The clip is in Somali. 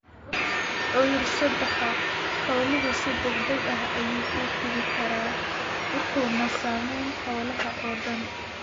Cudur-sidaha xooluhu si degdeg ah ayuu u fidi karaa, wuxuuna saameeyaa xoolaha oo dhan.